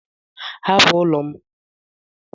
Hapụ ụlọ m!